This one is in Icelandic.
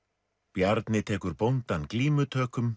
Bjarni tekur bóndann